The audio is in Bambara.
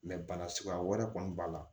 bana suguya wɛrɛ kɔni b'a la